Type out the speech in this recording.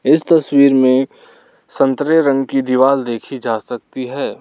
इस तस्वीर में संतरे रंग की दीवाल देखी जा सकती है।